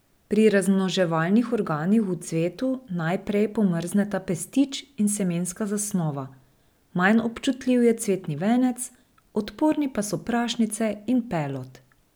Pri razmnoževalnih organih v cvetu najprej pomrzneta pestič in semenska zasnova, manj občutljiv je cvetni venec, odporni pa so prašnice in pelod.